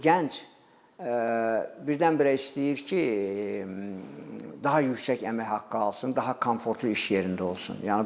Gənc birdən-birə istəyir ki, daha yüksək əmək haqqı alsın, daha komfortlu iş yerində olsun.